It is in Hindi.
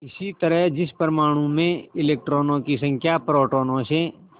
इसी तरह जिस परमाणु में इलेक्ट्रॉनों की संख्या प्रोटोनों से